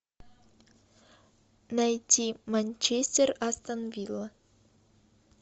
найти манчестер астон вилла